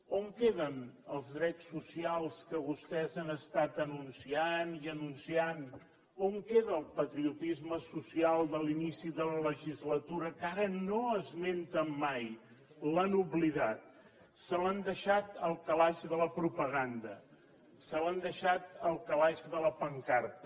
on queden els drets socials que vostès han estat anunciant i anunciant on queda el patriotisme social de l’inici de la legislatura que ara no esmenten mai l’han oblidat se l’han deixat al calaix de la propaganda se l’han deixat al calaix de la pancarta